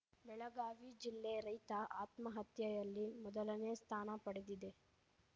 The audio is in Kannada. ಬೆಳಗಾವಿ ಜಿಲ್ಲೆ ರೈತ ಆತ್ಮಹತ್ಯೆಯಲ್ಲಿ ಮೊದಲನೇ ಸ್ಥಾನ ಪಡೆಡಿದೆ